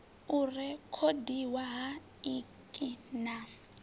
u rekhodiwa ha ik na